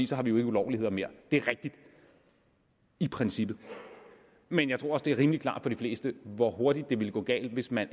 så har vi jo ikke ulovligheder mere det er rigtigt i princippet men jeg tror også det er rimelig klart for de fleste hvor hurtigt det ville gå galt hvis man